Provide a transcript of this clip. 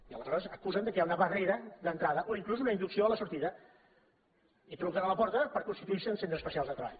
i aleshores acusen que hi ha una barrera d’entrada o inclús una inducció a la sortida i truquen a la porta per constituir·se en centres especials de treball